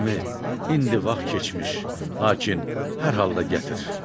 Əmi, indi vaxt keçmiş, lakin hər halda gətir.